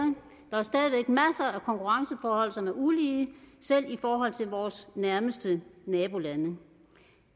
der af konkurrenceforhold som er ulige selv i forhold til vores nærmeste nabolande